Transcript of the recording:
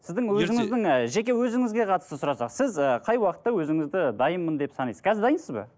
сіздің өзіңіздің ы жеке өзіңізге қатысты сұрасақ сіз ы қай уақытта өзіңізді дайынмын деп санайсыз қазір дайынсыз ба